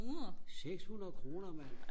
seks hundrede kroner mand